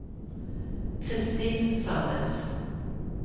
Kristin Sandnes